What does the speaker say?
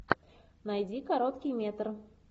найди короткий метр